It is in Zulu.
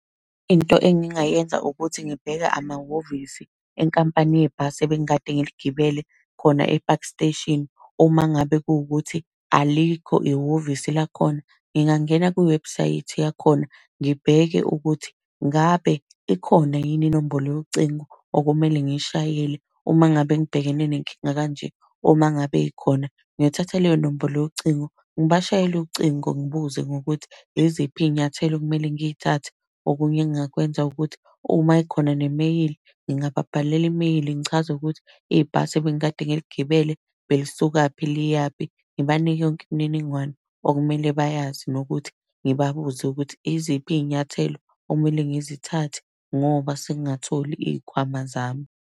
Into engingayenza ukuthi ngibheke amahhovisi enkampani yebhasi ebengikade ngiligibele khona e-Park Station. Uma ngabe kukuthi alikho ihhovisi lakhona, ngingangena kwiwebhusayithi yakhona, ngibheke ukuthi ngabe ikhona yini inombolo yocingo okumele ngiyishayele uma ngabe ngibhekene nenkinga kanje. Uma ngabe ikhona ngiyothatha leyo nombolo yocingo ngibashayela ucingo ngibuze ngokuthi yiziphi iy'nyathelo okumele ngiy'thathe. Okunye engingakwenza ukuthi uma ikhona nemeyili, ngingababhalela imeyili ngichaze ukuthi ibhasi ebengikade ngiligibele belisuka liyaphi, ngibanike yonke imininingwane okumele bayazi nokuthi ngibabuze ukuthi iziphi iy'nyathelo okumele ngizithathe ngoba singatholi iy'khwama zami.